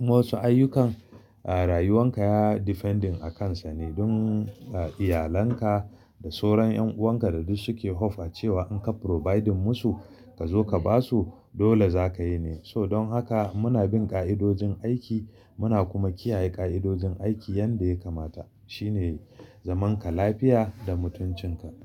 Wasu ayyukan, a rayuwan ka ya defending a kansa ne don iyalanka da soron ƴan'uwan ka da duk suke hope a cewa in ka providing musu ka zo ka ba su dole za ka yi ne. So don haka muna bin ƙa'idojin aiki muna kuma kiyaye ƙa'idojin aiki yadda ya kamata. Shi ne zaman ka lafiya da mutuncin ka.